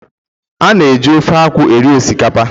A na-eji ofe akwu eri osikapa